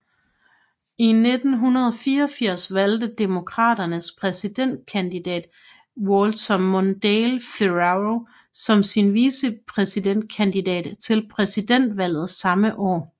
I 1984 valgte Demokraternes præsidentkandidat Walter Mondale Ferraro som sin vicepræsidentkandidat til præsidentvalget samme år